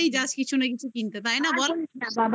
যাস কিছু না কিছু কিনতে তাই না বল